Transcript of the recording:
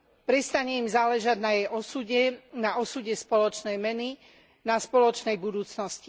Prestane im záležať na jej osude, na osude spoločnej meny, na spoločnej budúcnosti.